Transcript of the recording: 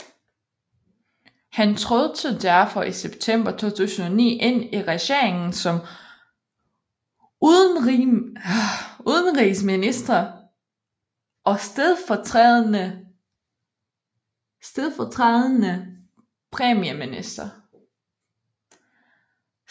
Han trådte derfor i september 2009 ind i regeringen som udenrigsminister og stedfortrædende premierminister